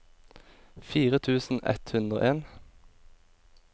fire tusen ett hundre og en